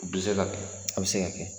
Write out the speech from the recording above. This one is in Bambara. bi se ka kɛ a bɛ se ka kɛ.